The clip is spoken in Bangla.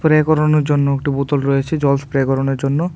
স্প্রে করানোর জন্য একটি বোতল রয়েছে জল স্প্রে করানোর জন্য।